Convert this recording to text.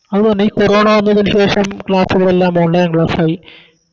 അതെന്നെ ഈ കൊറോണ വന്നതിന് ശേഷം Class കളെല്ലാം Online class ആയി